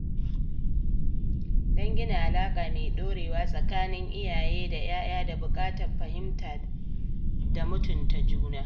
Don gina alaƙa mai ɗorewa tsakanin iyaye da 'ya'ya ,da buƙatar fahimta da mutunta juna.